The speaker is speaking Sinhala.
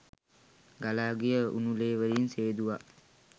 ගලා ගිය උණු ලේ වලින් සේදුවා